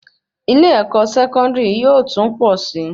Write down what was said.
ilé-ẹ̀kọ́ Sẹkọndiri yóò tún pọ sí